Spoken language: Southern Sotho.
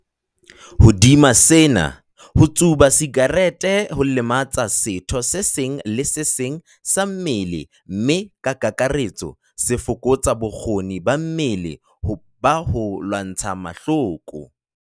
Hodima sena, ho tsuba sakerete ho lematsa setho se seng le se seng sa mmele mme ka kakaretso se fokotsa bokgoni ba mmele ba ho lwantsha mahloko.